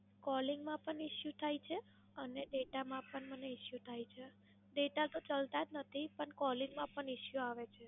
Calling માં પણ Issue થાય છે અને Data માં પણ મને Issue થાય છે. Data તો ચાલતા જ નથી, પણ Calling માં Issue આવે છે.